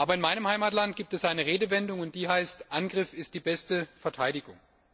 In meinem Heimatland gibt es eine Redewendung, nämlich Angriff ist die beste Verteidigung.